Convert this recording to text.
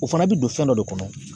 O fana bɛ don fɛn dɔ de kɔnɔ